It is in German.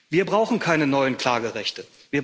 Wir brauchen keine neuen Klagerechte.